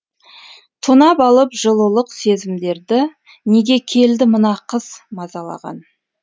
тонап алып жылулық сезімдерді неге келді мына қыс мазалаған